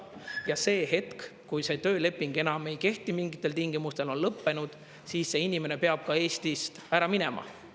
Ja see hetk, kui tööleping enam ei kehti mingitel tingimustel, on lõppenud, siis see inimene peab ka Eestist ära minema.